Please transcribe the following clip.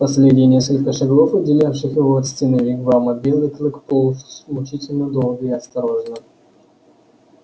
последние несколько шагов отделявших его от стены вигвама белый клык полз мучительно долго и осторожно